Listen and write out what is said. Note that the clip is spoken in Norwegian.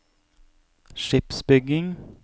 skipsbygging